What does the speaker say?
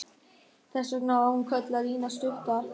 Þess vegna var hún kölluð Lína stutta.